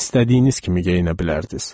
İstədiyiniz kimi geyinə bilərdiniz.